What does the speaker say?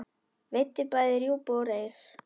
Veiddi bæði rjúpu og ref.